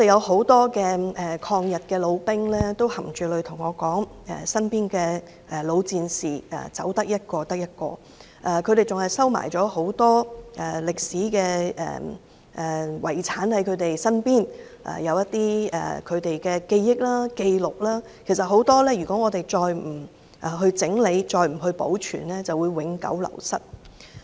很多抗日老兵含淚對我說，身邊的老戰士陸續離世，他們還收藏了很多歷史遺產，這些都是他們的記憶或紀錄，如果再不整理、保存便會永久流失。